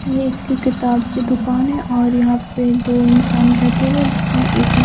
ये एक की किताब की दुकान है और यहां पे दो इंसान बैठे हुए जिसने एक ने--